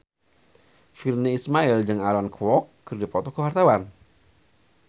Virnie Ismail jeung Aaron Kwok keur dipoto ku wartawan